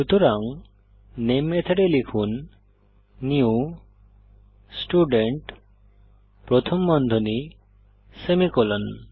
সুতরাং নামে মেথডে লিখুন নিউ স্টুডেন্ট প্রথম বন্ধনী সেমিকোলন